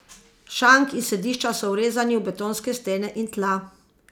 Šank in sedišča so vrezani v betonske stene in tla.